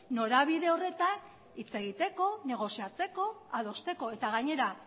norabide horretan hitz egiteko negoziatzeko adosteko eta gainera